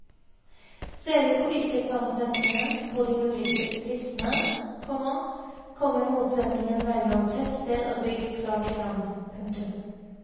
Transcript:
Ser vi på yrkessammensetningen på de ulike listene, komma kommer motsetningen mellom tettsted og bygd klart fram. punktum